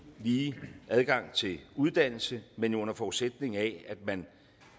og lige adgang til uddannelse men jo under forudsætning af at man